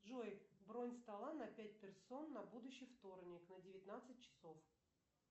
джой бронь стола на пять персон на будущий вторник на девятнадцать часов